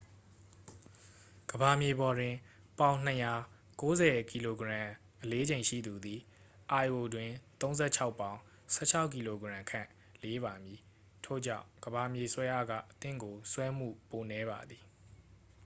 ကမ္ဘာမြေပေါ်တွင် ပေါင် ၂၀၀ ၉၀ kg အလေးချိန်ရှိသူသည် lo တွင် ၃၆ ပေါင် ၁၆ kg ခန့် လေးပါမည်။ ထို့ကြောင့် ကမ္ဘာမြေဆွဲအားက သင့်ကို ဆွဲမှု ပိုနည်းပါသည်။